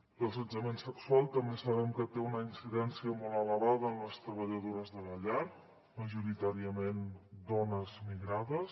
l’assetjament sexual també sabem que té una incidència molt elevada en les treballadores de la llar majoritàriament dones migrades